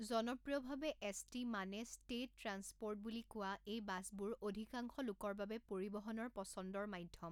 জনপ্ৰিয়ভাৱে S T মানে state transport বুলি কোৱা এই বাছবোৰ অধিকাংশ লোকৰ বাবে পৰিবহণৰ পছন্দৰ মাধ্যম।